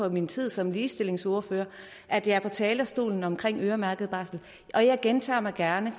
i min tid som ligestillingsordfører at jeg er på talerstolen om øremærket barsel og jeg gentager gerne